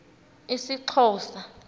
isxhosa